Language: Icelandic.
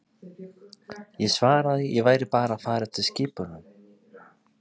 Ég svaraði ég væri bara að fara eftir skipunum.